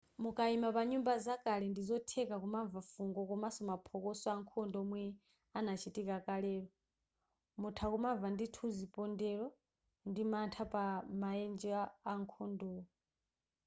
mukaima pa nyumba zakale ndi zotheka kumamva fungo komanso maphokoso ankhondo omwe anachitika kalelo mutha kumamva ndithu zipondelo ndi mantha pa maenje akhondowo